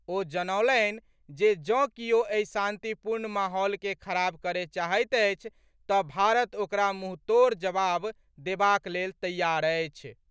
ओ जनौलनि जे जँ कियो एहि शांतिपूर्ण माहौल के खराब करए चाहैत अछि तऽ भारत ओकरा मुंहतोड़ जवाब देबाक लेल तैयार अछि।